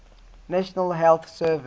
national health service